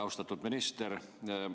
Austatud minister!